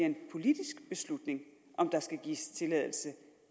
en politisk beslutning om der skal gives tilladelse